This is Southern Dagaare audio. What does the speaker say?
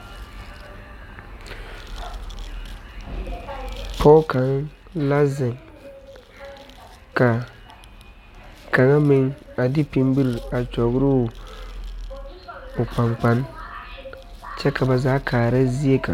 Pɔge kaŋ naŋ zeŋ ka kaŋa meŋ a de pimpiri a kyɔgrɔ o o kpankpane kyɛ ka ba zaa kaara zie kaŋ.